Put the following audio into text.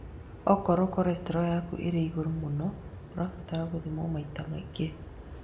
Okorwo cholestro yaku ĩ igũrũ mũno, ũrabatara gũthimagwo maita maingĩ